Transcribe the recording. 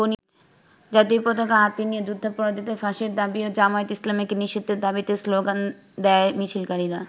জাতীয় পতাকা হাতে নিয়ে যুদ্ধাপরাধীদের ফাঁসির দাবী ও জামায়াতে ইসলামীকে নিষিদ্ধের দাবিতে স্লোগান দেয় মিছিলকারীরা।